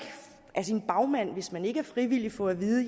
af sin bagmand hvis man ikke er frivillig få at vide